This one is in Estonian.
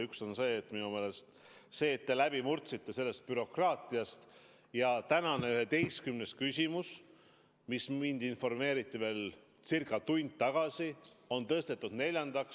Üks on see, et te sellest bürokraatiast läbi murdsite ja tänane 11. küsimus, millest mind informeeriti ca tund tagasi, on tõstetud neljandaks.